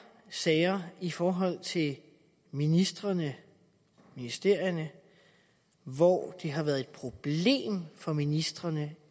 sager i forhold til ministrene og ministerierne hvor det har været et problem for ministrene